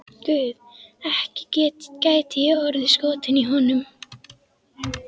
Guð, ekki gæti ég orðið skotin í honum.